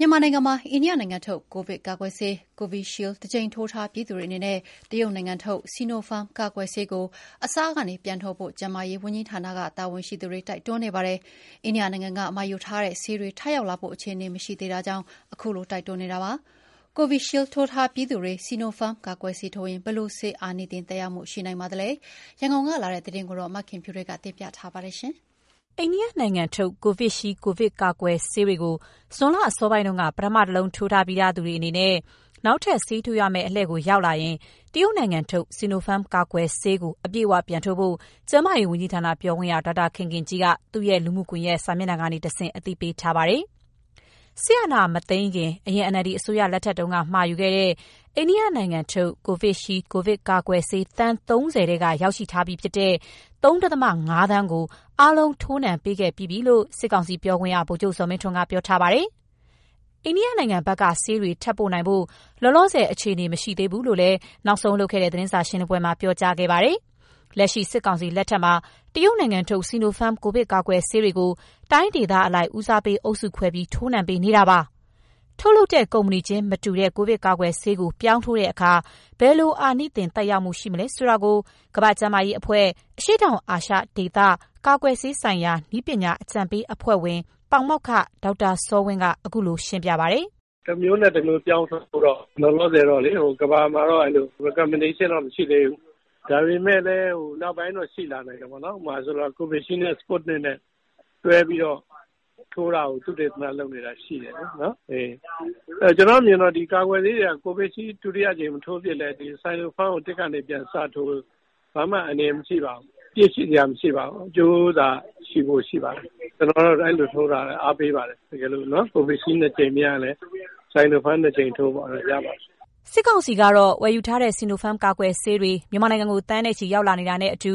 မြန်မာနိုင်ငံမှာ အိန္ဒိယနိုင်ငံထုတ် ကိုဗစ်ကာကွယ်ဆေး Covishield တကြိမ်ထိုးထားပြီးသူတွေအနေနဲ့ တရုတ်နိုင်ငံထုတ် Sinopharm ကာကွယ်ဆေးကို အစကနေ ပြန်ထိုးဖို့ ကျန်းမာရေးဝန်ကြီးဌာန တာဝန်ရှိသူတွေ တိုက်တွန်းနေပါတယ်။ အိန္ဒိယနိုင်ငံက မှာယူထားတဲ့ဆေးတွေ ထပ်ရောက်လာဖို့ အခြေအနေ မရှိသေးတာကြောင့် ခုလို တိုက်တွန်းနေတာပါ။ Covishield ထိုးထားပြီးသူတွေ Sinopharm ကာကွယ်ဆေးထိုးရင် ဘယ်လိုဆေးအာနိသင် သက်ရောက်မှုရှိနိုင်ပါသလဲ၊ ရန်ကုန်ကလာတဲ့ သတင်းကို မခင်ဖြူထွေးက ပြောပြပါမယ်။ အိန္ဒိယနိုင်ငံထုတ် Covishield ကိုဗစ်ရောဂါကာကွယ်ဆေးတွေကို ဇွန်လအစောပိုင်းတုန်းက ပထမ တလုံးထိုးထားပြီးသူတွေအနေနဲ့ နောက်ထပ်ဆေးထိုးရမယ့် အလှည့်ရောက်လာရင် တရုတ်နိုင်ငံထုတ် Sinopharm ကာကွယ်ဆေးကို အပြည့်အဝပြန်ထိုးဖို့ ကျန်းမာရေးဝန်ကြီးဌာန ပြောခွင့်ရ ဒေါက်တာခင်ခင်ကြီးက သူ့ရဲ့လူမှုကွန်ယက်စာမျက်နှာကနေတဆင့် အသိပေးထားပါတယ်။ စစ်အာဏာမသိမ်းခင် အရင် NLD အစိုးရလက်ထက်တုန်းက မှာယူခဲ့တဲ့ အိန္ဒိယနိုင်ငံထုတ် Covishield ကိုဗစ်ကာကွယ်ဆေး သန်း ၃၀ ထဲက ရောက်ရှိထားပြီးဖြစ်တဲ့ ၃.၅ သန်းကို အားလုံး ထိုးနှံပေးခဲ့ပြီးပြီလို့ စစ်ကောင်စီ ပြောခွင့်ရ ဗိုလ်ချုပ်ဇော်မင်းထွန်းက ပြောထားပါတယ်။ အိန္ဒိယနိုင်ငံဘက်က ဆေးတွေ ထပ်ပို့နိုင်ဖို့ လောလောဆယ် အခြေအနေ မရှိသေးဘူးလို့လည်း နောက်ဆုံးလုပ်ခဲ့တဲ့ သတင်းစာရှင်းပွဲမှာ ပြောကြားခဲ့ပါတယ်။ လက်ရှိ စစ်ကောင်စီလက်ထက်မှာ တရုတ်နိုင်ငံထုတ် Sinopharm ကိုဗစ်ကာကွယ်ဆေးတွေကို တိုင်းဒေသအလိုက် ဦးစားပေးအုပ်စုခွဲပြီး ထိုးနှံပေးနေတာပါ။ ထုတ်လုပ်တဲ့ကုမ္ပဏီချင်းမတူတဲ့ ကိုဗစ်ကာကွယ်ဆေးကို ပြောင်းထိုးတဲ့အခါ ဘယ်လို အာနိသင်သက်ရောက်မှု ရှိနိုင်မလဲဆိုတာကို ကမ္ဘာ့ကျန်းမာရေးအဖွဲ့၊ အရှေ့တောင်အာရှဒေသ၊ ကာကွယ်ဆေးဆိုင်ရာ နည်းပညာအကြံပေးအဖွဲ့ဝင် ပါမောက္ခ ဒေါက်တာစောဝင်းက ခုလိုရှင်းပြပါတယ်။ "တမျိုးနဲ့တမျိုးပြောင်းထိုးဖို့ လောလောဆယ်တော့ ကမ္ဘာမှာ recommendation တော့ မရှိသေးဘူး။ ဒါပေမယ့်လည်း နောက်ပိုင်းတော့ ရှိလာနိုင်တာပေါ့နော်။ ဥပမာ Covishield နဲ့ Sputnik နဲ့ တွဲပြီးတော့ထိုးတာကို သုတေသနလုပ်နေတာရှိတယ်။ ကျနော့်အမြင်ကတော့ ဒီကာကွယ်ဆေးတွေက Covishield ဒုတိယအကြိမ်မထိုးဖြစ်လည်း Sinopharm ကို ၁ ကနေပြန်စထိုးဖို့ ဘာမှအန္တရာယ်မရှိပါဘူး။ အပြစ်ရှိစရာ မရှိပါဘူး။ အကျိုးသာရှိဖို့ ရှိပါတယ်။ ကျနော်ကတော့ အဲလိုထိုးတာ အားပေးပါတယ်။ တကယ်လို့ Covishield နှစ်ကြိမ်မရရင်လည်း Sinopharm နှစ်ကြိမ်ထိုးလို့ကတော့ ရပါတယ်။" စစ်ကောင်စီကတော့ ဝယ်ယူထားတဲ့ Sinopharm ကာကွယ်ဆေးတွေ မြန်မာနိုင်ငံကို သန်းနဲ့ချီ ရောက်လာနေတာနဲ့အတူ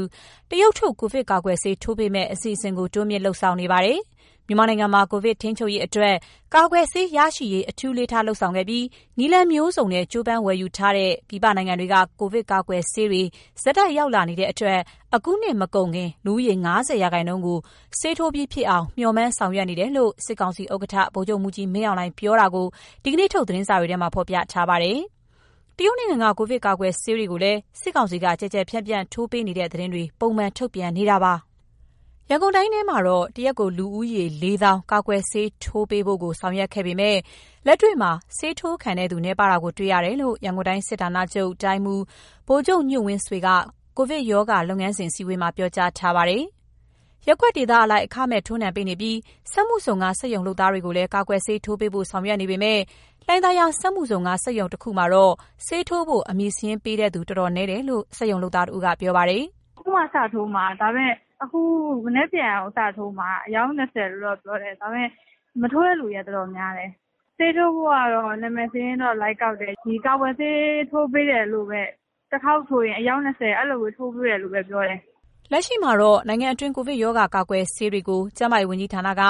တရုတ်ထုတ် ကိုဗစ်ကာကွယ်ဆေး ထိုးပေးမယ့်အစီအစဉ်ကို တိုးမြှင့်လုပ်ဆောင်နေပါတယ်။ မြန်မာနိုင်ငံမှာ ကိုဗစ်ထိန်းချုပ်ရေးအတွက် ကာကွယ်ဆေးရရှိရေး အထူးအလေးထားလုပ်ဆောင်ခဲ့ပြီး နည်းလမ်းမျိုးစုံနဲ့ ကြိုးပမ်းဝယ်ယူထားတဲ့ ပြည်ပနိုင်ငံတွေက ကိုဗစ်ကာကွယ်ဆေးတွေ ဆက်တိုက် ရောက်လာနေတဲ့အတွက် အခုနှစ်မကုန်ခင် လူဦးရေ ၅၀% ကို ဆေးထိုးပြီးဖြစ်အောင် မေ ျှာ်မှန်းဆောင်ရွက်နေတယ်လို့ စစ်ကောင်စီဥက္ကဋ္ဌ ဗိုလ်ချုပ်မှူးကြီးမင်းအောင်လှိုင်ပြောတာကို ဒီနေ့ထုတ် သတင်းစာတွေထဲမှာ ဖော်ပြထားပါတယ်။ တရုတ်နိုင်ငံက ကိုဗစ်ကာကွယ်ဆေးတွေကိုလည်း စစ်ကောင်စီက ကျယ်ကျယ်ပြန့်ပြန့် ထိုးပေးနေတဲ့ သတင်းတွေ ပုံမှန်ထုတ်ပြန်နေပါတယ်။ ရန်ကုန်တိုင်းထဲမှာတော့ တရက်ကို လူဦးရေ ၄၀,၀၀၀ ကာကွယ်ဆေးထိုးနှံပေးဖို့ကို ဆောင်ရွက်ခဲ့ပေမယ့် လက်တွေ့မှာ ဆေးထိုးခံတဲ့သူ နည်းပါးတာကိုတွေ့ရတယ်လို့ ရန်ကုန်တိုင်းစစ်ဌာနချုပ် တိုင်းမှူး ဗိုလ်ချုပ်ညွန့်ဝင်းဆွေက ကိုဗစ်ရောဂါလုပ်ငန်းစဉ် အစည်းအဝေးမှာ ပြောကြားထားပါတယ်။ ရပ်ကွက်ဒေသအလိုက် အခမဲ့ထိုးနှံပေးနေပြီး စက်မှုဇုံက စက်ရုံလုပ်သားတွေကိုလည်း ကာကွယ်ဆေးထိုးပေးဖို့ ဆောင်ရွက်ပေးနေပေမယ့် လှိုင်သာယာစက်မှုဇုံက စက်ရုံတခုမှာတော့ ဆေးထိုးဖို့ နာမည်စာရင်းပေးသူ တော်တော်နည်းတယ်လို့ စက်ရုံလုပ်သားတဦးက ပြောပါတယ်။ "အခုမှ စထိုးမှာ။ မနက်ဖြန် အယောက် ၂၀ စထိုးမှာ။ ဒါပေမယ့် မထိုးတဲ့လူတွေက တော်တော်များတယ်။ ဆေးထိုးဖို့ကတော့ နာမည်စာရင်းကတော့ လိုက်ကောက်တယ်။ ဒီကာကွယ်ဆေး ထိုးပေးတယ်လို့ပဲ တခေါက်ထိုးရင် အယောက် ၂၀ ထိုးပေးမယ်လို့ပဲ ပြောတယ်။" လက်ရှိအချိန်မှာတော့ နိုင်ငံတွင်း ကိုဗစ်ရောဂါ ကာကွယ်ဆေးတွေကို ကျန်းမာရေးဝန်ကြီးဌာနက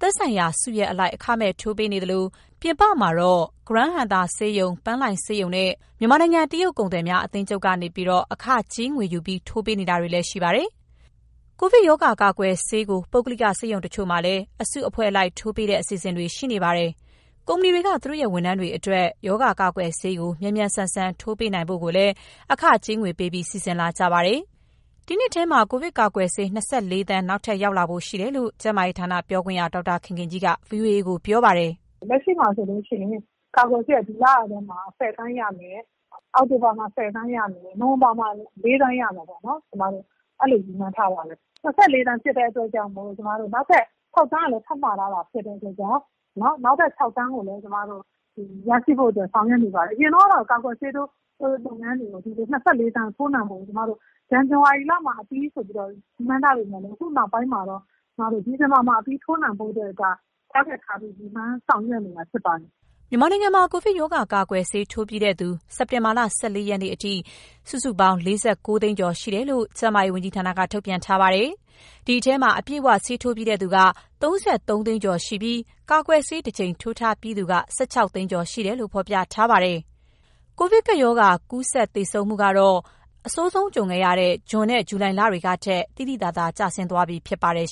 သက်ဆိုင်ရာစုရပ်အလိုက် အခမဲ့ထိုးနှံပေးနေသလို ပြင်ပမှာတော့ ဂရန်းဟံသာဆေးရုံ၊ ပန်းလှိုင်ဆေးရုံနဲ့ မြန်မာနိုင်ငံ တရုတ်ကုန်သည်များ အသင်းချုပ်ကနေပြီးတော့ အခကြေးငွေယူပြီး ထိုးနှံပေးနေတာလည်း ရှိပါတယ်။ ကိုဗစ်ရောဂါကာကွယ်ဆေးကို ပုဂ္ဂလိက ဆေးရုံတချို့မှာလည်း အစုအဖွဲ့အလိုက် ထိုးနှံပေးတဲ့ အစီအစဉ်တွေ ရှိနေပါတယ်။ ကုမ္ပဏီတွေက သူတို့ရဲ့ဝန်ထမ်းတွေအတွက် ရောဂါကာကွယ်ဆေးကို မြန်မြန်ဆန်ဆန် ထိုးနှံပေးနိုင်ဖို့ကိုလည်း အခကြေးငွေပေးပြီး စီစဉ်လာကြပါတယ်။ ဒီနှစ်ထဲမှာ ကိုဗစ်ကာကွယ်ဆေး ၂၄ သန်း နောက်ထပ်ရောက်လာဖို့ ရှိတယ်လို့ ကျန်းမာရေးဌာနပြောခွင့်ရ ဒေါက်တာခင်ခင်ကြီးက ဗီအိုအေကို ခုလိုပြောထားပါတယ်။ "လက်ရှိမှာဆိုရင် ကာကွယ်ဆေးက ဒီလထဲမှာ ၁၀ သန်း ရမယ်။ အောက်တိုဘာမှာ ၁၀ သန်း ရမယ်။ နိုဝင်ဘာမှာ ၄ သန်းရမယ်လို့ ရည်မှန်းထားပါတယ်။ ၂၄ သန်းဖြစ်တဲ့ အတွက်ကြောင့်မို့ နောက်ထပ် ၆သန်းကလည်း ထပ်မှာထားတာ ဖြစ်တဲ့အတွက်ကြောင့် ရရှိဖို့အတွက် ဆောင်ရွက်နေတာဖြစ်ပါတယ်။ အရင်တုန်းကတော့ ကာကွယ်ဆေးထိုးလုပ်ငန်းတွေကို ၂၄ သန်း ထိုးနှံနိုင်ဖို့ကို ဇန်နဝါရီလမှာ အပြီးဆိုပြီးတော့ ရည်မှန်းထားပေမယ့်လည်း အခုနောက်ပိုင်းမှာတော့ ဒီဇင်ဘာမှာ အပြီးထိုးနှံနိုင်ဖို့အတွက် target ထားပြီး ရည်မှန်းဆောင်ရွက်နေတာ ဖြစ်ပါတယ်။" မြန်မာနိုင်ငံမှာ ကိုဗစ်ကပ်ရောဂါ ကာကွယ်ဆေး ထိုးပြီးသူ စက်တင်ဘာလ ၁၄ ရက်နေ့အထိ စုစုပေါင်း ၄၉ သိန်းကျော် ရှိတယ်လို့ ကျန်းမာရေးဝန်ကြီးဌာနက ထုတ်ပြန်ထားပါတယ်။ အဲဒီထဲမှာ အပြည့်အဝ ဆေးထိုးပြီးသူက ၃၃ သိန်းကျော် ရှိပြီး ကာကွယ်ဆေး တကြိမ်ထိုးထားပြီးသူက ၁၆ သိန်းကျော်ရှိတယ်လို့ ဖော်ပြထားပါတယ်။ ကိုဗစ်ကပ်ရောဂါ ကူးစက်သေဆုံးမှုကတော့ အဆိုးဆုံးဖြစ်ခဲ့တဲ့ ဇွန်၊ ဇူလိုင်လတွေကထက် သိသိသာသာ ကျဆင်းသွားပြီဖြစ်ပါတယ်